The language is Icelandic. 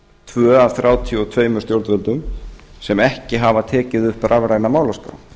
tvö af þrjátíu og tvö stjórnvöldum sem ekki hafa tekið upp rafræna málaskrá